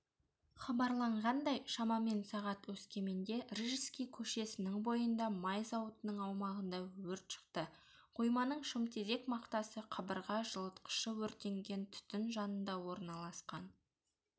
хабарланғандай шамамен сағат өскеменде рижский көшесінің бойында май зауытының аумағында өрт шықты қойманың шымтезек мақтасы қабырға жылытқышы өртенген түтін жанында орналасқан